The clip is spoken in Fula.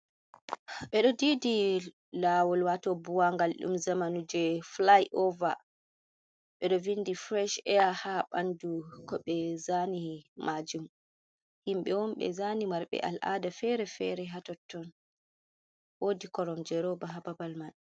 Ɓeɗo didi laawol, waato buwaangal ɗum zamanu, je filai'over, ɓe ɗo vinɗi firesh eya, Haa ɓandu ko ɓe zaani maajum, himɓe on ɓe zaani marɓe al'aada fere-fere Haa totton, woodi koromje rooba haa babal mai.